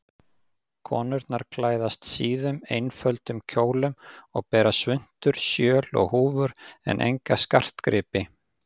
Konurnar klæðast síðum, einföldum kjólum og bera svuntur, sjöl og húfur en enga skartgripi.